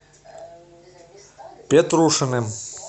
петрушиным